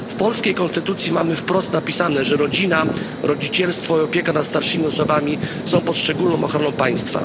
W polskiej konstytucji mamy wprost napisane, że rodzina, rodzicielstwo i opieka nad starszymi osobami są pod szczególną ochroną państwa.